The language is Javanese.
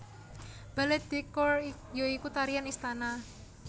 Ballet de cour ya iku tarian istana